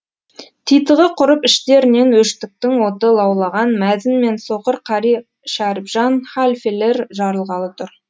титығы құрып іштерінен өштіктің оты лаулаған мәзін мен соқыр қари шәрібжан халфелер жарылғалы тұр